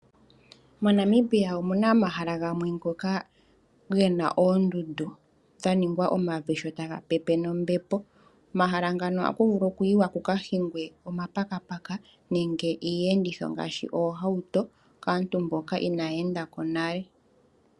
MoNamibia omuna omahala gamwe ngoka gena oondundu dha ningwa omavi sho taga pepe nombepo. Omahala ngano ohaku vulu oku yiwa ku ka hingwe omapakapaka nenge iiyenditho ngaashi oohauto kaantu mboka inaya enda ko nale.